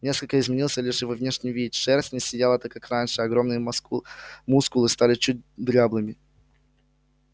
несколько изменился лишь его внешний вид шерсть не сияла так как раньше а огромные мускулы стали чуть дряблыми